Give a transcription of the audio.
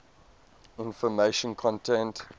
information content